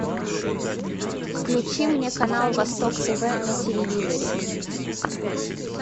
включи мне канал восток тв на телевизоре